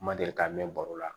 N ma deli ka mɛn baro la